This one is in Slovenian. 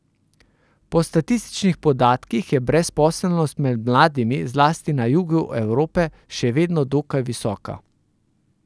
Po statističnih podatkih je brezposelnost med mladimi, zlasti na jugu Evrope, še vedno dokaj visoka.